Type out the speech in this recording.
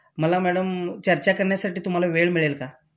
मला मॅडम चर्चा करण्यासाठी तुम्हाला वेळ मिळेल का?